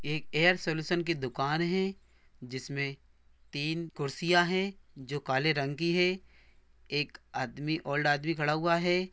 ये एक air solution की दुकान है | जिसमे तीन कुर्सिया है |जो काले रंग की है| एक आदमी ओल्ड आदमी खड़ा हुआ है।